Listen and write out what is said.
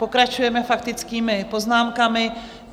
Pokračujeme faktickými poznámkami.